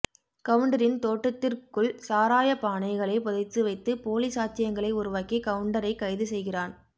கவுண்டரின் தோட்டத்திற்குள்சாராய பானைகளை புதைத்து வைத்து போலி சாட்சியங்களை உருவாக்கி கவுண்டரை கைது செய்கிறான்